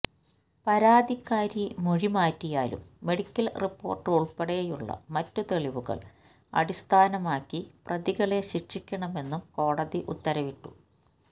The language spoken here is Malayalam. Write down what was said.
പരാതിക്കാരി മൊഴി മാറ്റിയാലും മെഡിക്കല് റിപ്പോര്ട്ട് ഉള്പ്പെടെയുള്ള മറ്റ് തെളിവുകള് അടിസ്ഥാനമാക്കി പ്രതികളെ ശിക്ഷിക്കണമെന്നും കോടതി ഉത്തരവിട്ടു